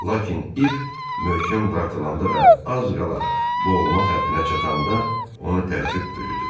Lakin ip möhkəm dartılanda və az qala boğulmaq həddinə çatanda onu təəccüb bürüdü.